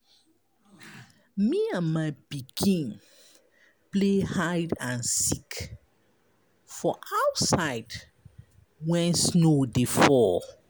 Me and my pikin play hide and seek for outside wen snow dey fall.